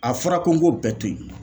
A fɔra ko n k'o bɛɛ to yen